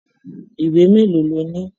Ìwé mélòó lo ni?